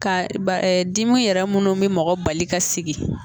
Ka ba dimi yɛrɛ munnu bi mɔgɔ bali ka sigi